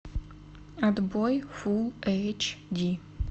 отбой фулл эйч ди